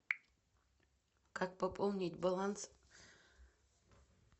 как пополнить баланс